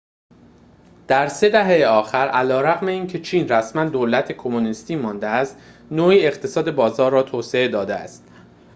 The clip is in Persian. در طی سه دهه آخر علیرغم اینکه چین رسماً دولت کمونیستی مانده است نوعی اقتصاد بازار را توسعه داده است